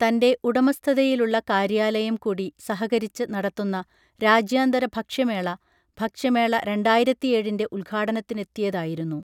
തൻറെ ഉടമസ്ഥതയിലുള്ള കാര്യാലയം കൂടി സഹകരിച്ച് നടത്തുന്ന രാജ്യാന്തര ഭക്ഷ്യമേള ഭക്ഷ്യമേള രണ്ടായിരത്തിയേഴിൻറെ ഉദ്ഘാടനത്തിനെത്തിയതായിരുന്നു